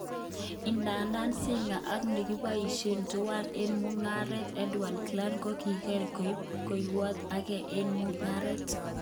Idadan Singer ak nekiboishe tuwan eng mungaret, Edward Clen, kokiran koib kokwautyeat ake eng mungaret.